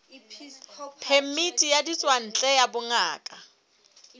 phemiti ya ditswantle ya bongaka